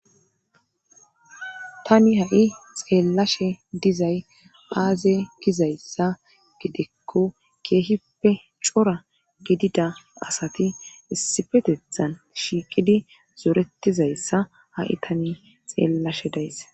tani ha7i xeellashe dizay aaze gizayssa gidekko keehippe cora gidida asati issifetethan shiiqidi zoretizayssa ha7i tani xeellashe days